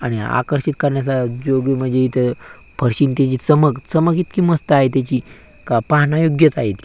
आणि आकर्षित करण्याचा जो बी म्हणजे इथ फरशी आणि ती जी चमक चमक इतकी मस्त आहे त्याची का पाहण्यायोग्यच आहे ती.